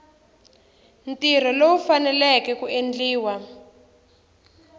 ntirho lowu faneleke ku endliwa